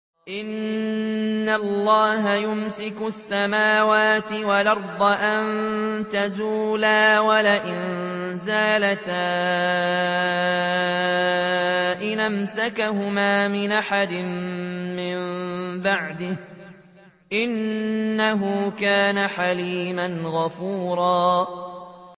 ۞ إِنَّ اللَّهَ يُمْسِكُ السَّمَاوَاتِ وَالْأَرْضَ أَن تَزُولَا ۚ وَلَئِن زَالَتَا إِنْ أَمْسَكَهُمَا مِنْ أَحَدٍ مِّن بَعْدِهِ ۚ إِنَّهُ كَانَ حَلِيمًا غَفُورًا